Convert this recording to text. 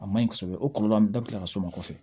A maɲi kosɛbɛ o kɔlɔlɔ bɛɛ bɛ ka s'o ma kɔfɛ